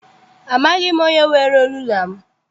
Amaghị m onye were rula m.